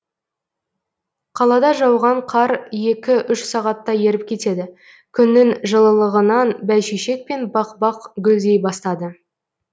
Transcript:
қалада жауған қар екі үш сағатта еріп кетеді күннің жылылығынан бәйшешек пен бақбақ гүлдей бастады